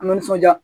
A nisɔnja